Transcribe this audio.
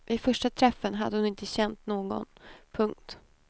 Vid första träffen hade hon inte känt någon. punkt